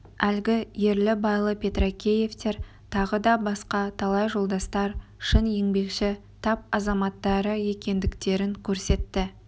әлгі ерлі-байлы петракеевтер тағы да басқа талай жолдастар шын еңбекші тап азаматтары екендіктерін көрсетті